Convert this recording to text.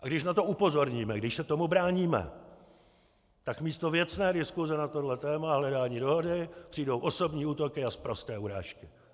A když na to upozorníme, když se tomu bráníme, tak místo věcné diskuse na toto téma a hledání dohody, přijdou osobní útoky a sprosté urážky.